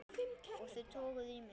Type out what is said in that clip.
Og þau toguðu í mig.